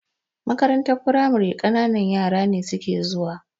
Makarantar firamare ƙananan yara ne suke zuwa.